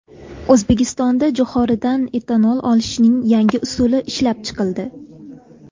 O‘zbekistonda jo‘xoridan etanol olishning yangi usuli ishlab chiqildi.